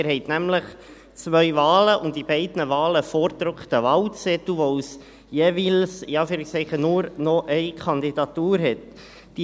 Sie haben nämlich zwei Wahlen und für beide Wahlen einen vorgedruckten Wahlzettel, weil es jeweils – in Anführungszeichen – nur noch Kandidatur hat.